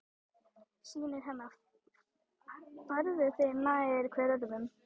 Synir hennar færðu sig nær hver öðrum.